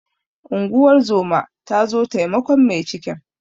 Unguwar zoma ta zo taimakon mai cikin.